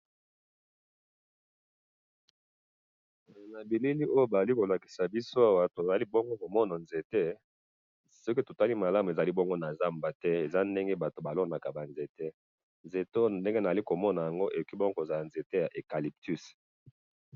na bilili oyo bazali kolakisa biso awa tozali komona ezali nzete soki totali malamu ezali na zamba te ezali bonbo place batu balonaka ba nzete nzete oy nazali komona awa ekoki kozala nzete ya eucalyptus.